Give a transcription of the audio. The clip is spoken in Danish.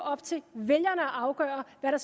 op til vælgerne at afgøre hvad der